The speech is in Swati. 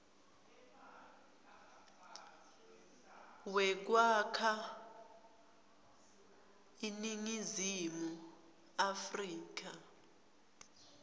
wekwakha iningizimu afrika